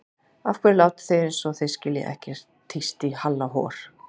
Af hverju látið þið eins og þið skiljið ekkert tísti í Halla hor.